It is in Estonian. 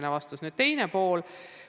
Nüüd küsimuse teine pool.